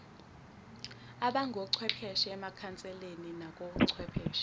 abangochwepheshe emakhanseleni nakochwepheshe